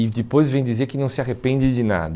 E depois vem dizer que não se arrepende de nada.